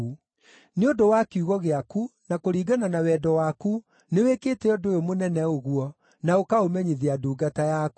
Nĩ ũndũ wa kiugo gĩaku, na kũringana na wendo waku, nĩwĩkĩte ũndũ ũyũ mũnene ũguo, na ũkaũmenyithia ndungata yaku.